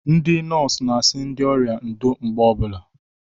Ndị nọọsụ n'asị ndị ọrịa ndo mgbe ọbụla